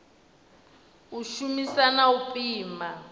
u shumisa na u pima